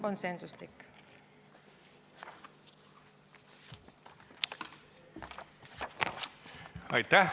Aitäh!